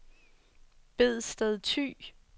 Bedsted Thy